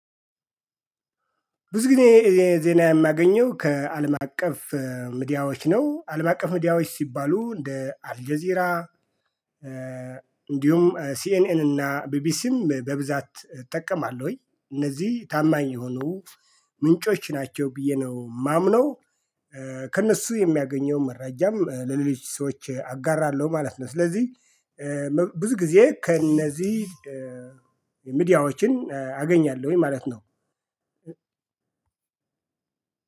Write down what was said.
ብዙ ጊዜ ዜና የማገኘው ከአለም አቀፍ ሚድያዎች ነው አለም አቀፍ ሚድያዎች ሲባሉ እንደ አልጀዚራ። እንዲሁም ሲኤንኤን እና ቢቢሲም በብዛት እጠቀማለሁኝ እነዚህ ታማኝ የሆኑ ምንጮች ናቸው ብዬ ነው የማምነው። ከእነሱ የሚያገኘው መረጃም ለሌሎች ሰዎች አጋራለሁ ማለት ነው። ስለዚህ ብዙ ጊዜ ከእነዚህ ሚዲያዎችን አገኛለሁኝ ማለት ነው።